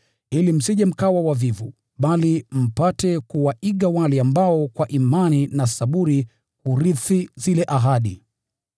ili msije mkawa wavivu, bali mpate kuwaiga wale ambao kwa imani na saburi hurithi zile ahadi.